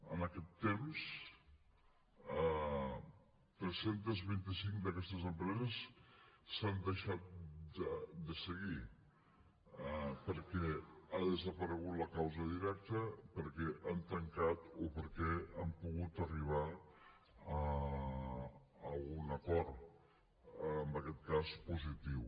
en aquest temps tres cents i vint cinc d’aquestes empreses s’han deixat de seguir perquè ha desaparegut la causa directa perquè han tancat o perquè han pogut arribar a un acord en aquest cas positiu